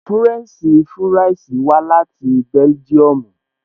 Fúrẹ́ǹṣì fúráìsì wá láti bẹ́lígíọmù